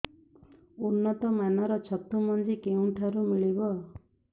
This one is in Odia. ଉନ୍ନତ ମାନର ଛତୁ ମଞ୍ଜି କେଉଁ ଠାରୁ ମିଳିବ